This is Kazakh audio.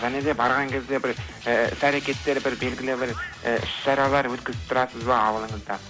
және де барған кезде бір і іс әрекеттер бір белгілі бір і іс шаралар өткізіп тұрасыз ба ауылыңызда